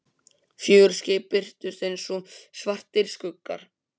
Fjögur skip birtust einsog svartir skuggar.